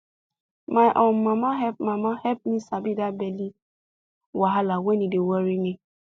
my um mama help mama help me sabi that belly wahala when e dey worry me